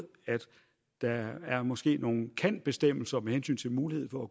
at der måske er nogle kan bestemmelser med hensyn til mulighed for